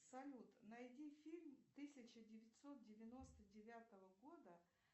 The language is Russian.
салют найди фильм тысяча девятьсот девяносто девятого года